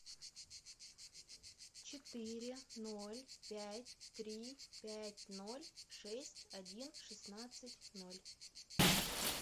четыре ноль пять три пять ноль шесть один шестнадцать ноль